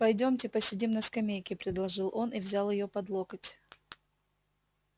пойдёмте посидим на скамейке предложил он и взял её под локоть